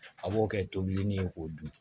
A b'o kɛ tobili ye k'o dun